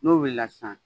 N'o wulila sisan